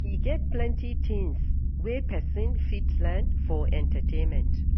E get plenty tins wey pesin fit learn for entertainment.